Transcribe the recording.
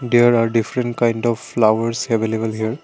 there are different kind of flowers available here.